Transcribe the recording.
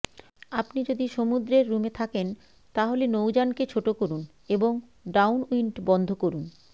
আপনি যদি সমুদ্রের রুমে থাকেন তাহলে নৌযানকে ছোট করুন এবং ডাউনউইন্ড বন্ধ করুন